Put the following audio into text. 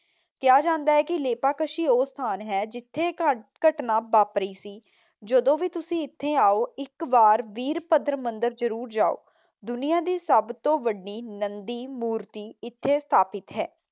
ਕਿਹਾ ਜਾਂਦਾ ਹੈ ਕੇ ਲੇਪਾਕਸ਼ੀ ਉਹ ਸਥਾਨ ਹੈ ਜਿੱਥੇ ਘ ਘਟਨਾ ਵਾਪਰੀ ਸੀ। ਜਦੋਂ ਵੀ ਤੁਸੀਂ ਇੱਥੇ ਆਓ ਇੱਕ ਵਾਰ ਵੀਰਭੱਦਰ ਮੰਦਰ ਜਰੂਰ ਜਾਉ। ਦੁਨੀਆ ਦੀ ਸਭ ਤੋਂ ਵੱਡੀ ਨੰਦੀ ਮੂਰਤੀ ਇਥੇ ਸਥਾਪਿਤ ਹੈ।